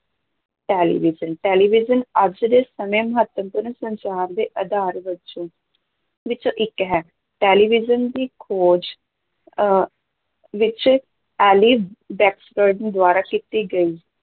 Television, television ਅੱਜ ਦੇ ਸਮੇਂ ਮਹੱਤਵਪੂਰਨ ਸੰਚਾਰ ਦੇ ਆਧਾਰ ਵਿੱਚੋਂ ਵਿੱਚੋਂ ਇੱਕ ਹੈ, ਟੈਲੀਵਿਜ਼ਨ ਦੀ ਖੋਜ ਅਹ ਵਿੱਚ ਦੁਆਰਾ ਕੀਤੀ ਗਈ।